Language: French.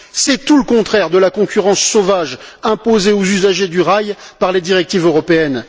C'est tout le contraire de la concurrence sauvage imposée aux usagers du rail par les directives européennes.